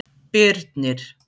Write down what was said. Birnir